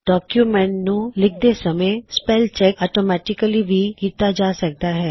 document ਨੂੰ ਲਿਖਦੇ ਸਮੇ ਸਪੈੱਲ ਚੈੱਕ ਔਟੋਮੈਟਿਕਲੀ ਵੀ ਕੀੱਤਾ ਜਾ ਸਕਦਾ ਹੈ